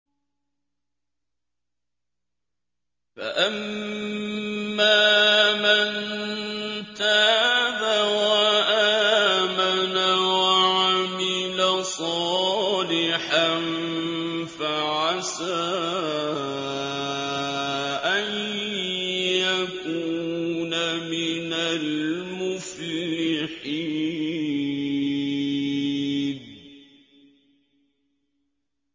فَأَمَّا مَن تَابَ وَآمَنَ وَعَمِلَ صَالِحًا فَعَسَىٰ أَن يَكُونَ مِنَ الْمُفْلِحِينَ